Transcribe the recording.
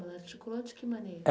Ela articulou de que maneira?